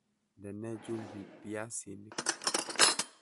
Ndene chumbik biyasinik